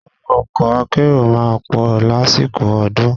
Owó ọkọ̀ akérò máa ń pọ̀ lásìkò ọdún.